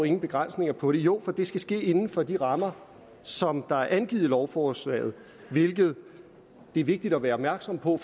ingen begrænsninger på det jo for det skal ske inden for de rammer som er angivet i lovforslaget hvilket er vigtigt at være opmærksom på